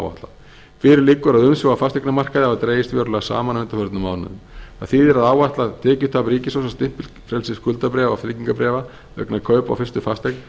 áætlað fyrir liggur að umsvif á fasteignamarkaði hafa dregist verulega saman á undanförnum mánuðum það þýðir að áætlað tekjutap ríkissjóðs af stimpilfrelsi skuldabréfa og tryggingarbréf vegna kaupa á fyrstu fasteign